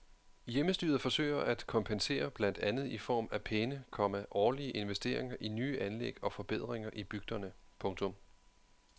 Hjemmestyret forsøger at kompensere blandt andet i form af pæne, komma årlige investeringer i nye anlæg og forbedringer i bygderne. punktum